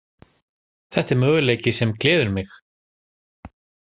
Þetta er möguleiki sem gleður mig.